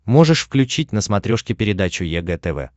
можешь включить на смотрешке передачу егэ тв